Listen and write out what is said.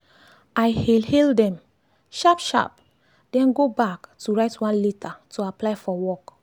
i hail hail dem sharp sharp then go back to write one letter to apply for work.